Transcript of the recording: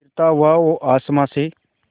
गिरता हुआ वो आसमां से